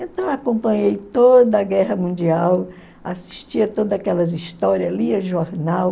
Então acompanhei toda a guerra mundial, assistia todas aquelas histórias, lia jornal.